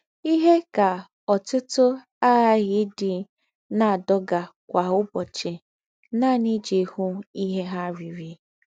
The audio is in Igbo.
Íhe ka ọ̀tùtù àghàghí ídị́ ná-àdógà kwá ụ̀bọ́chì nànì íjí hụ́ íhe ha rìrí.